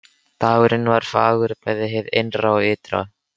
Dagurinn var fagur bæði hið innra og ytra.